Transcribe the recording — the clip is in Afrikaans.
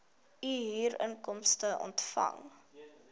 u huurinkomste ontvang